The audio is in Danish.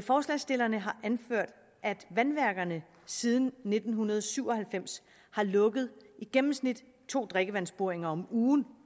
forslagsstillerne har anført at vandværkerne siden nitten syv og halvfems har lukket i gennemsnit to drikkevandsboringer om ugen